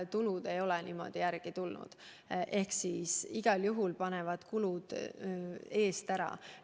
Tulud ei ole järele tulnud, kulud panevad igal juhul eest minema.